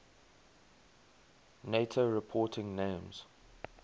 nato reporting names